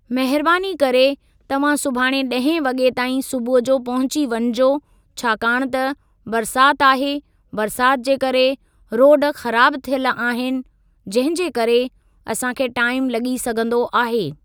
महिरबानी करे तव्हां सुभाणे ॾहें वॻे ताईं सुबूह जो पहुची वञिजो छाकाणि त बरसाति आहे बरसाति जे करे रोड ख़राब थियल आहिनि जंहिं जे करे असां खे टाइम लॻी सघंदो आहे।